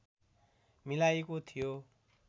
मिलाइएको थियो